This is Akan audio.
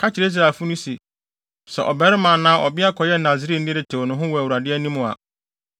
“Ka kyerɛ Israelfo no se, sɛ ɔbarima anaa ɔbea kɔyɛ Nasareni de tew ne ho wɔ Awurade anim a,